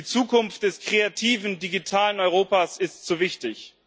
Die Zukunft des kreativen, digitalen Europas ist zu wichtig.